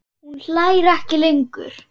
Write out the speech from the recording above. Hún hlær ekki lengur.